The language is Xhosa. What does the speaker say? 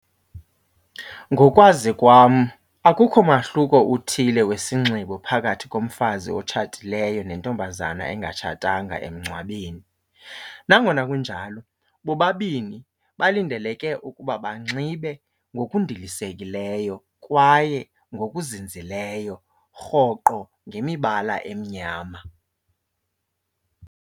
Ngokwazi kwam akukho mahluko uthile wesinxibo phakathi komfazi otshatileyo nentombazana engatshatanga emngcwabeni. Nangona kunjalo bobabini balindeleke ukuba banxibe ngokundilisekileyo kwaye ngokuzinzileyo rhoqo ngemibala emnyama.